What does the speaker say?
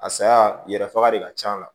A saya yɛrɛ faga de ka c'a la